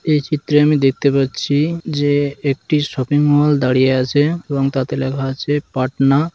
এই চিত্রে আমি দেখতে পাচ্ছি যে একটি শপিং মল দাঁড়িয়ে আছে এবং তাতে লেখা আছে পাটনা ।